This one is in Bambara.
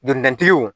Donidaw